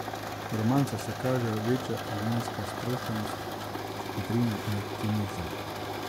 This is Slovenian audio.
V romancah se kažejo večja življenjska sproščenost, vedrina in optimizem.